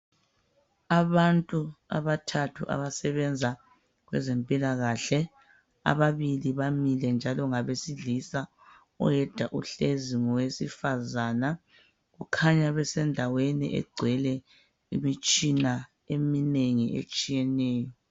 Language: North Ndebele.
Abantu abathathu abasebenza kwezempilakahle ,ababili bamile njalo ngabesilisa oyedwa uhlezi ngowesifazana ukhanya besendaweni egcwele imitshina eminengi etshiyeneyo.